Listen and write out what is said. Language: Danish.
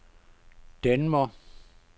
Denver